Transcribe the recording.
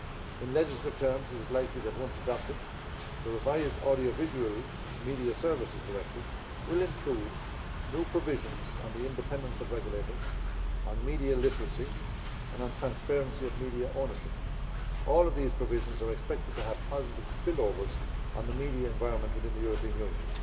In legislative terms, it is likely that, once adopted, the revised audiovisual media services directive will include new provisions on the independence of regulators, on media literacy and on transparency of media ownership. All of these provisions are expected to have positive spillovers on the media environment within the European Union.